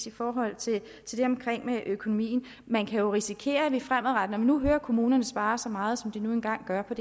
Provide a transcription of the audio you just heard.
i forhold til det med økonomien man kan jo risikere at vi fremadrettet nu hører at kommunerne sparer så meget som de nu engang gør på